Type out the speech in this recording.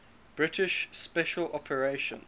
british special operations